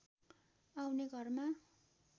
आउने घरमा